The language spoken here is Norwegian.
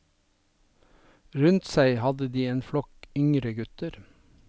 Rundt seg hadde de en flokk yngre gutter.